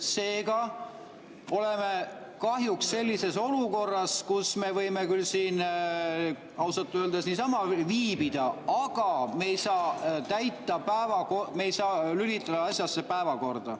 Seega oleme kahjuks sellises olukorras, kus me võime küll siin ausalt öeldes niisama viibida, aga me ei saa lülitada asjasse päevakorda.